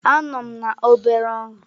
Anọ m na obere ọrụ.